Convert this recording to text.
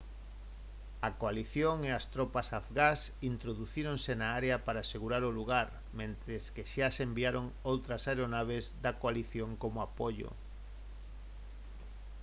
a coalición e a as tropas afgás introducíronse na área para asegurar o lugar mentres que xa se enviaron outras aeronaves da coalición como apoio